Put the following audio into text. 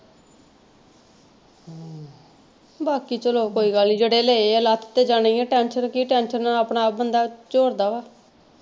ਬਾਕੀ ਚਲੋ ਕੋਈ ਗੱਲ ਨਹੀਂ ਜਿਹੜੇ ਲਏ ਆ ਲੱਥ ਤੇ ਜਾਣੇ ਹੀ ਆ tension ਕੀ tension ਨਾਲ ਆਪਣਾ ਆਪ ਬੰਦਾ ਝੋਰਦਾ ਵਾ।